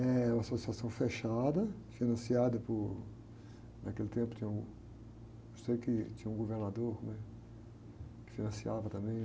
É uma associação fechada, financiada por... Naquele tempo tinha um... Eu sei que tinha um governador, né? Que financiava também.